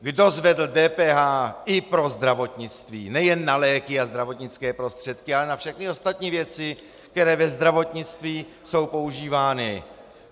Kdo zvedl DPH i pro zdravotnictví - nejen na léky a zdravotnické prostředky, ale na všechny ostatní věci, které ve zdravotnictví jsou používány?